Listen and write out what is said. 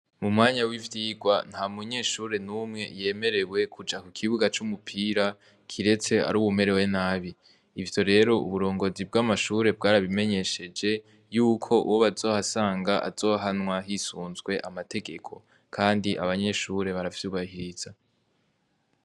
Mu mwanya w'ivyigwa, nta munyeshure numwe yemerewe kuja ku kibuga c'umupira kiretse ari uwumerewe nabi. Ivyo rero, uburongozi bw'amashure bwarabimenyesheje yuko uwo bazohasanga, azohanwa hisunzwe amategeko kandi abanyeshure baravyubahiriza.